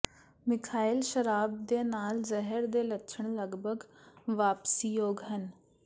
methyl ਸ਼ਰਾਬ ਦੇ ਨਾਲ ਜ਼ਹਿਰ ਦੇ ਲੱਛਣ ਲਗਭਗ ਵਾਪਸੀਯੋਗ ਹਨ